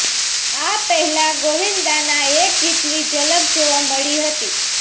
આ પહેલા ગોવિંદાના એક ગીતની ઝલક જોવા મળી હતી